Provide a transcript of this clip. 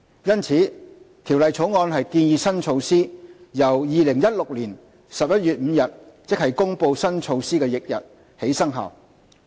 因此，《條例草案》建議新措施由2016年11月5日，即公布新措施翌日起生效。